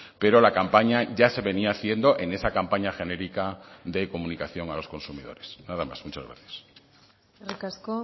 pero la campaña ya se venía haciendo en esa campaña genérica de comunicación a los consumidores nada más muchas gracias eskerrik asko